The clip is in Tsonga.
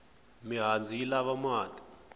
mihandzu yi lava mati